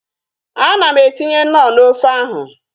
Ana m etinye knọ n'ofe ahu